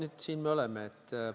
Vaat siin me nüüd oleme.